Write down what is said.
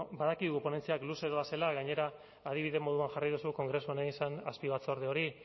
badakigu ponentziak luze doazela gainera adibide moduan jarri duzu kongresuan egin zen azpibatzorde hori